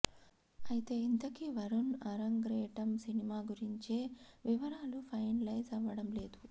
అయితే ఇంతకీ వరుణ్ ఆరంగ్రేటం సినిమా గురించే వివరాలు ఫైనలైజ్ అవ్వడం లేదు